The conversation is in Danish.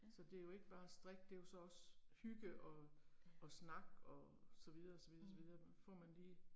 Ja. Ja. Mh